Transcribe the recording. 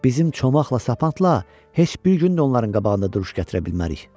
Bizim çomaqla, sapanla heç bir gün də onların qabağında duruş gətirə bilmərik.